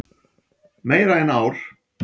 Meira en ár.